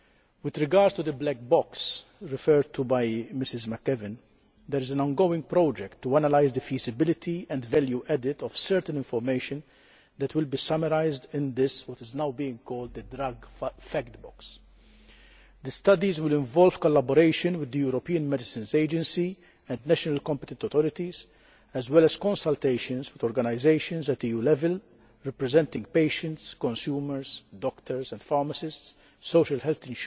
With regard to the black box referred to by Mrs McAvan, there is an ongoing project to analyse the feasibility and value added of certain information that will be summarised in what is now being called the drug fact box. The studies will involve collaboration with the European Medicines Agency and national competent authorities, as well as consultations with organisations at EU level representing patients, consumers, doctors and pharmacists, social health